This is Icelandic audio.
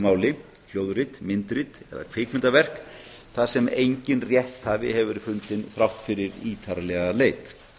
máli hljóðrit myndrit eða kvikmyndaverk þar sem enginn rétthafi verið fundinn þrátt fyrir ítarlega leit